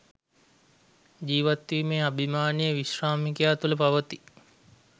ජීවත්වීමේ අභිමානය විශ්‍රාමිකයා තුළ පවතී.